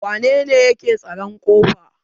wanene yake tsaron ƙofa?